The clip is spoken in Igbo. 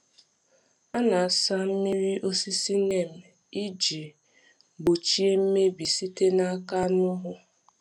A na-asa mmiri osisi Neem iji gbochie mmebi sitere n’aka anụhụ.